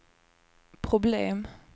problem